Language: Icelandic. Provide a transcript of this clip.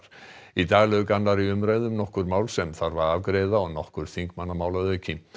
í dag lauk annarri umræðu um nokkur mál sem þarf að afgreiða og nokkur þingmannamál að auki